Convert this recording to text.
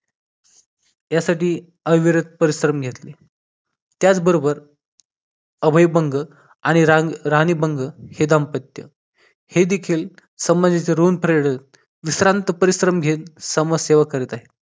यासाठी अविरत परिश्रम घेतले त्याचबरोबर अभय भंग आणि राराणी भंग हे दाम्पत्य हे देखील समाजा चे ऋण फेडत विश्रांत परिश्रम घेत समाजसेवा करीत आहे